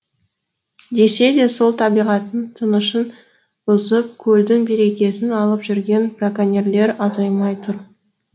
десе де сол табиғаттың тынышын бұзып көлдің берекесін алып жүрген браконьерлер азаймай тұр